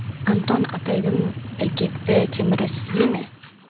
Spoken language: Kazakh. антон атайдың ілгекті темірі сізде ме